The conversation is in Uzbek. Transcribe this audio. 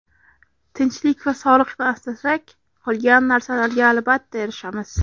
Tinchlik va sog‘liqni asrasak, qolgan narsalarga albatta erishamiz.